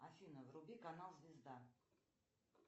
афина вруби канал звезда